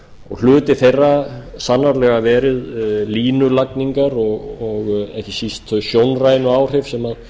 og hluti þeirra sannarlega verið línulagningar og ekki síst þau sjónrænu áhrif sem þær